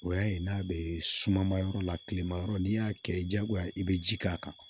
O y'a ye n'a bɛ suman ma yɔrɔ la kilema yɔrɔ n'i y'a kɛ diyagoya i bɛ ji k'a kan